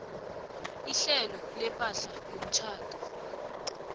ihlelo lepahla yomtjhado